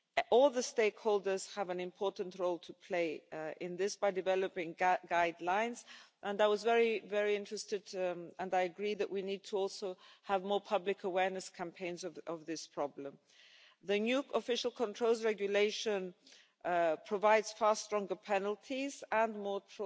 All the stakeholders have an important role to play in this by developing guidelines, and I was very interested and I agree that we need to also have more public awareness campaigns of this problem. The new Official Controls Regulation provides far stronger penalties